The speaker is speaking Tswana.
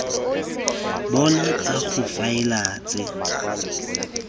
bona tsa go faela tse